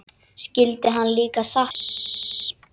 Skyldi hann líka sakna Sveins?